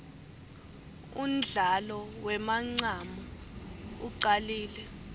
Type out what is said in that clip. undlalo wemancamu ucalile